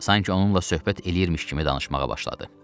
Sanki onunla söhbət eləyirmiş kimi danışmağa başladı.